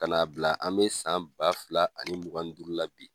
Ka n'a bila an be san ba fila ani mugan ni duuru la bi.